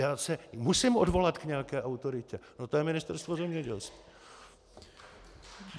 Já se musím odvolat k nějaké autoritě a tou je Ministerstvo zemědělství.